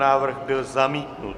Návrh byl zamítnut.